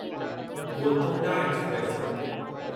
Golconda express